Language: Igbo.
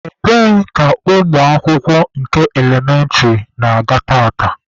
Ebee ka ụmụ akwụkwọ nke elementịrị na-aga tata?